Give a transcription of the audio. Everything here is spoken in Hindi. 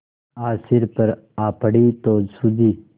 आज सिर पर आ पड़ी तो सूझी